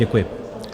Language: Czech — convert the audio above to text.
Děkuji.